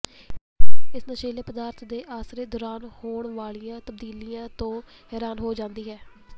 ਇਸ ਨਸ਼ੀਲੇ ਪਦਾਰਥ ਦੇ ਅਰਸੇ ਦੌਰਾਨ ਹੋਣ ਵਾਲੀਆਂ ਤਬਦੀਲੀਆਂ ਤੋਂ ਹੈਰਾਨ ਹੋ ਜਾਂਦੀ ਹੈ